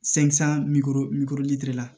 la